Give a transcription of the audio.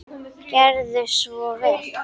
Gerðu svo vel!